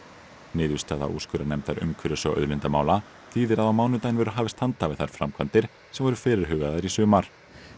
niðurstaða úrskurðarnefndar umhverfis og auðlindamála þýðir að á mánudaginn verður hafist handa við þær framkvæmdir sem voru fyrirhugaðar í sumar